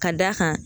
Ka d'a kan